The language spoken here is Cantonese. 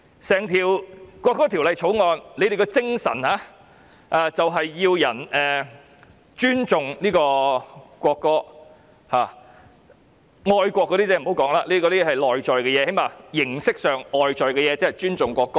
整項《條例草案》的精神便是要市民尊重國歌，愛國那些不要說了，那是內在的東西，最少形式上、外表看起來尊重國歌。